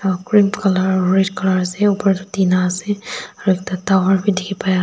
green colour red colour ase upar tae tina ase aru ekta tower bi dikhipaiase--